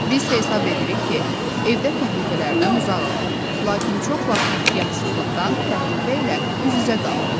Biz hesab edirik ki, evdə təhlükələrdən uzağıq, lakin çox vaxt ehtiyatsızlıqdan təhlükə ilə üz-üzə qalırıq.